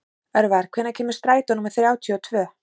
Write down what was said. Örvar, hvenær kemur strætó númer þrjátíu og tvö?